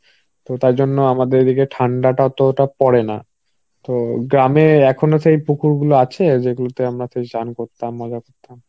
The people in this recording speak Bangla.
তার জন্য আমাদের এদিকে ঠান্ডাটা অতটা পরে না. তো গ্রামে এখনো সেই পুকুর গুলো আছে যেগুলোতে আমরা তো স্নান করতাম, মজা করতাম.